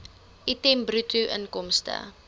item bruto inkomste